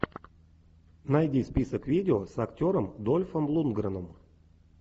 найди список видео с актером дольфом лундгреном